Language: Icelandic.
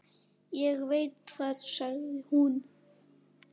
Ég veit það, sagði hún.